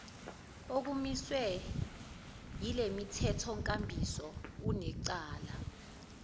okumiswe yilemithethonkambiso unecala